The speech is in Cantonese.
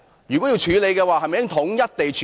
如果要處理，是否應該統一處理？